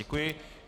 Děkuji.